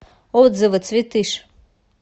отзывы цветыш